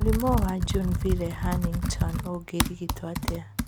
Mũrimũ wa Junevile Huntington ũngĩrigitwo atĩa?